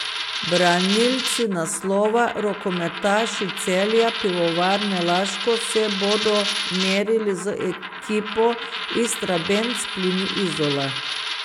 Branilci naslova, rokometaši Celja Pivovarne Laško se bodo merili z ekipo Istrabenz Plini Izola.